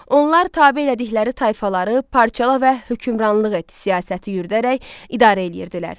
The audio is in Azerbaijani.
Onlar tabe elədikləri tayfaları parçala və hökmranlıq et siyasəti yürüdərək idarə eləyirdilər.